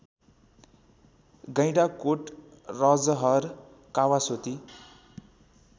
Gaindakot Rajahar Kawasoti